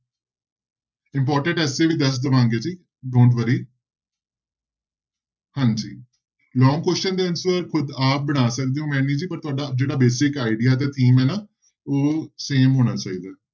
Important essay ਵੀ ਦੱਸ ਦਵਾਂਗੇ ਜੀ don't worry ਹਾਂਜੀ long question ਦੇ answer ਖੁੱਦ ਆਪ ਬਣਾ ਸਕਦੇ ਹੋ ਮੇਨੀ ਜੀ ਪਰ ਤੁਹਾਡਾ ਜਿਹੜਾ basic idea ਤੇ theme ਹੈ ਨਾ ਉਹ same ਹੋਣਾ ਚਾਹੀਦਾ।